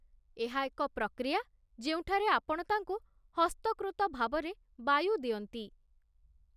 ଏହା ଏକ ପ୍ରକ୍ରିୟା ଯେଉଁଠାରେ ଆପଣ ତାଙ୍କୁ ହସ୍ତକୃତ ଭାବରେ ବାୟୁ ଦିଅନ୍ତି।